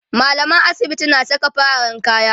mallaman asibiti na Saka fararen kaya